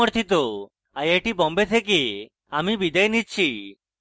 I I T Bombay থেকে amal বিদায় নিচ্ছি